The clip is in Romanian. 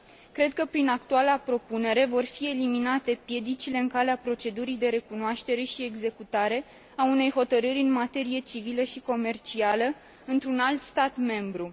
Cred că, prin actuala propunere, vor fi eliminate piedicile în calea procedurii de recunoaștere și executare a unei hotărâri în materie civilă și comercială într un alt stat membru.